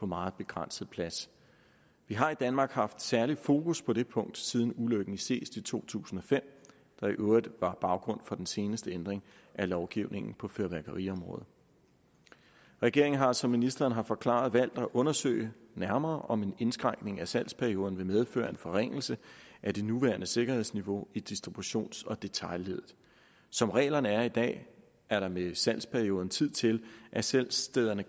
meget begrænset plads vi har i danmark haft særligt fokus på det punkt siden ulykken i seest i to tusind og fem der i øvrigt var baggrunden for den seneste ændring af lovgivningen på fyrværkeriområdet regeringen har som ministeren har forklaret valgt at undersøge nærmere om en indskrænkning af salgsperioden vil medføre en forringelse af det nuværende sikkerhedsniveau i distributions og detailleddet som reglerne er i dag er der med salgsperioden tid til at salgsstederne